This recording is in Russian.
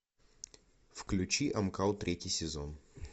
включи амкал третий сезон